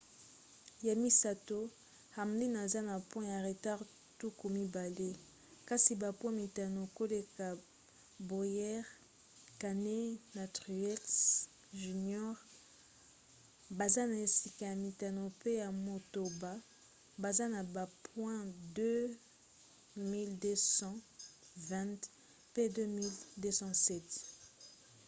ya misato hamlin aza na point ya retard tuku mibale kasi bapoint mitano koleka bowyer. kahne na truex jr. baza na esika ya mitano pe ya motoba baza na ba point 2 220 pe 2 207